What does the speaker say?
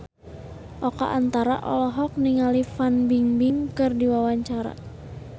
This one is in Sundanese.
Oka Antara olohok ningali Fan Bingbing keur diwawancara